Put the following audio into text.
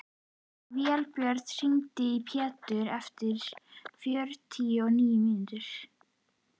Vébjörg, hringdu í Petru eftir fjörutíu og níu mínútur.